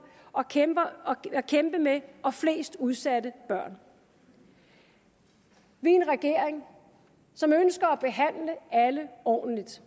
at kæmpe med og flest udsatte børn vi er en regering som ønsker at behandle alle ordentligt